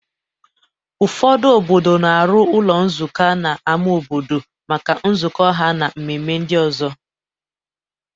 Ụfọdụ obodo na-arụ ụlọ nzukọ n'ama obodo maka nzukọ ha na mmemme ndị ọzọ.